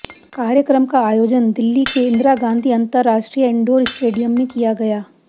कार्यक्रम का आयोजन दिल्ली के इंदिरा गांधी अंतरराष्ट्रीय इंडोर स्टेडियम में किया गया